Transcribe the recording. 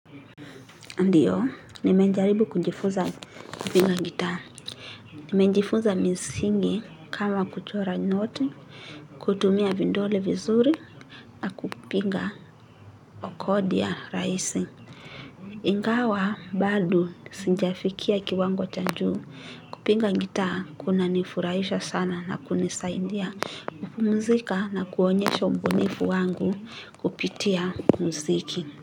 Ndiyo nimejaribu kunjifunza kupiga gitaa. Nimejifuza misingi kama kuchora noti. Kutumia vindole vizuri na kupinga okodia rahisi ingawa bado sijafikia kiwango cha juu kupiga gitaa kunani furahisha sana na kunisaidia kupumzika na kuonyesha ubunifu wangu kupitia muziki.